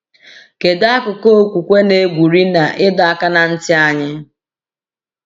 Kedu akụkụ okwukwe na-egwuri na ịdọ aka ná ntị anyị?